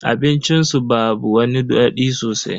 Abincin su babu wani dadi sosai.